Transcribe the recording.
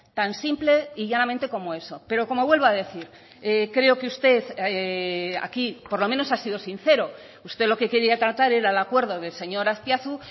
tan simple y llanamente como eso pero como vuelvo a decir creo que usted aquí por lo menos ha sido sincero usted lo que quería tratar era el acuerdo del señor azpiazu